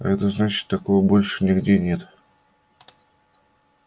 а это значит такого больше нигде нет